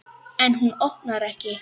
En hún opnar ekki.